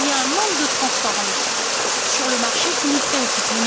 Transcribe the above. Il y a un manque de transparence sur le marché qui nous préoccupe.